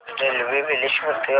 railway Bileshwar ते Wankaner junction पर्यंत